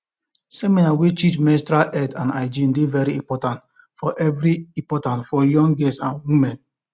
seminar wey teach menstrual health and hygiene dey very important for very important for young girls and women